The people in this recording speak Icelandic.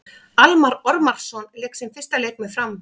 Almarr Ormarsson lék sinn fyrsta leik með Fram.